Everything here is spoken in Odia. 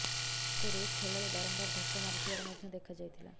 ତାଙ୍କୁ ରୁଷ ଖେଳାଳୀ ବାରମ୍ବାର ଧକ୍କା ମରିଥିବାର ମଧ୍ୟ ଦେଖାଯାଇଥିଲା